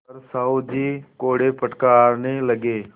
पर साहु जी कोड़े फटकारने लगे